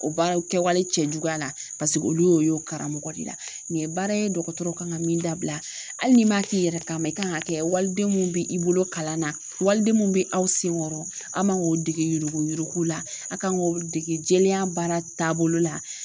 O baaraw kɛwale cɛjuguya la paseke olu y'o ye u karamɔgɔ de la. Nin ye baara ye dɔgɔtɔrɔw kan ka min dabila. Hali n'i m'a k'i yɛrɛ kama i kan ŋ'a kɛ waliden mun be i bolo kalan na waliden mun be aw seŋɔrɔ a' man k'o dege yurugu-yurugu la, a' kan ŋ'olu dege jɛlenya baara taabolo la.